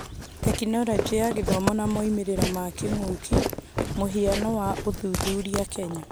Tekinoronjĩ ya Gĩthomo na moimĩrĩra ma kĩng'ũki mũhiano wa ũthuthuria Kenya